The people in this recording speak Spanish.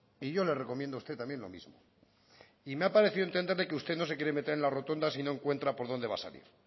y yo le recomiendo a usted también lo mismo y me ha parecido entenderle que usted no se quiere meter en la rotonda si no encuentra por donde va a salir